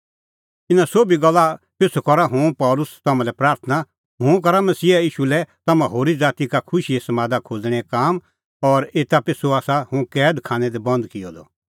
इना सोभी गल्ला पिछ़ू करा हुंह पल़सी तम्हां लै प्राथणां हुंह करा मसीहा ईशू लै तम्हां होरी ज़ाती का खुशीए समादा खोज़णेंओ काम और एता पिछ़ू आसा हुंह कैद खानै दी बंद किअ द